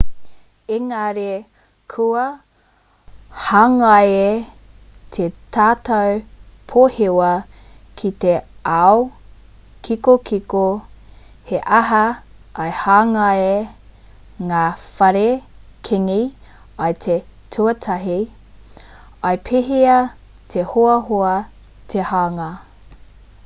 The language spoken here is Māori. engari kua hangaia tā tātou pōhewa ki te ao kikokiko he aha i hangaia ngā whare kīngi i te tuatahi i pēhea te hoahoa te hanga